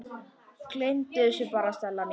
Gleymdu þessu bara, Stella mín.